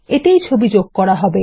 এতেই ছবি যোগ করা হবে